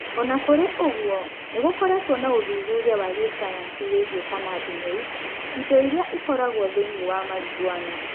O na kũrĩ ũguo, nĩ gũkoretwo na ũthuthuria wa gĩsayansi wĩgiĩ cannabinoids, indo iria ĩkoragwo thĩinĩ wa Marijuana.